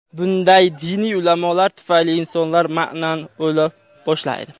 Bunday diniy ulamolar tufayli insonlar maʼnan o‘la boshlaydi.